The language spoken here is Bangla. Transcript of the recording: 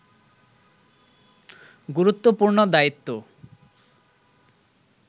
গুরুত্বপূর্ণ দায়িত্ব